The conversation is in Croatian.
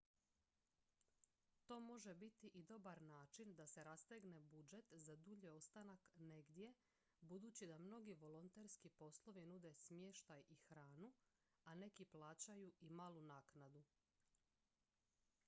to može biti i dobar način da se rastegne budžet za dulji ostanak negdje budući da mnogi volonterski poslovi nude smještaj i hranu a neki plaćaju i malu naknadu